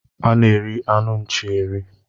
A na-eri anụ nchi eri.